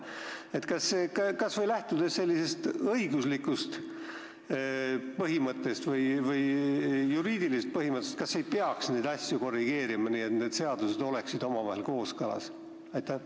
Kas neid asju ei peaks korrigeerima kas või lähtudes sellisest õiguslikust või juriidilisest põhimõttest, et need seadused oleksid omavahel kooskõlas?